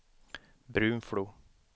Brunflo